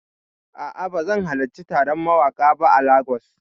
A'a, bazan halarci taron mawaƙa ba a Lagos.